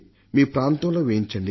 మీ ప్రాంతంలో వేయించండి